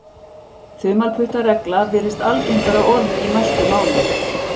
þumalputtaregla virðist algengara orð í mæltu máli